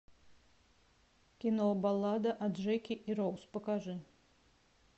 кино баллада о джеке и роуз покажи